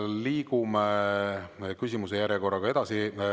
Liigume küsimuste järjekorras edasi.